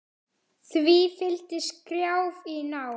Því fylgdi skrjáf í ná